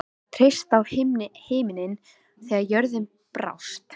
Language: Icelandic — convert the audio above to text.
Hún gat treyst á himininn þegar jörðin brást.